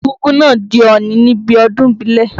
Egúngún náà di ọ̀nì níbi ọdún ìbílẹ̀.